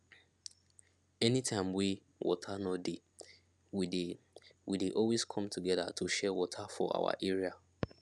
any time wey water no dey we dey we dey always come together to share water for our area